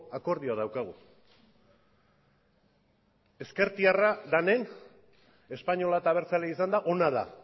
akordioa daukagu ezkertiarra denen espainola eta abertzalea izanda ona da